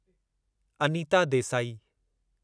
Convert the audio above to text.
Anita Desai